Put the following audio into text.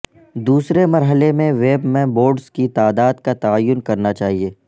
دوسرے مرحلے میں ویب میں بورڈز کی تعداد کا تعین کرنا چاہئے